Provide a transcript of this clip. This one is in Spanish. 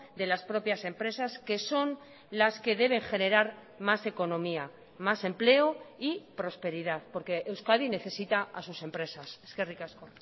de las propias empresas que son las que deben generar más economía más empleo y prosperidad porque euskadi necesita a sus empresas eskerrik asko